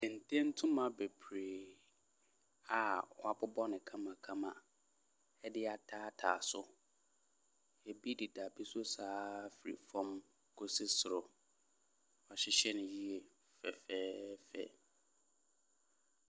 Kente ntoma bebree a wɔabobɔ no kamakama de ataataa so. Ebi deda bi so sa ara firi fam kɔsi soro. Wɔahyehyɛ no yɛ. Fɛfɛɛfɛ.